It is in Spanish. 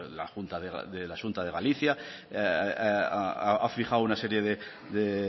la xunta de galicia que ha fijado una serie de